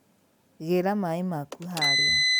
Gĩra maĩ maku harĩa